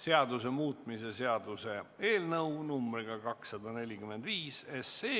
seaduse muutmise seaduse eelnõu numbriga 245.